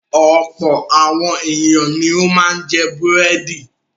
Ọ̀pọ̀ àwọn ènìyàn ni ó máa ń jẹ búrẹ́dì.